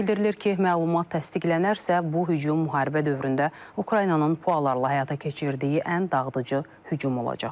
Bildirilir ki, məlumat təsdiqlənərsə, bu hücum müharibə dövründə Ukraynanın PUA-larla həyata keçirdiyi ən dağıdıcı hücum olacaq.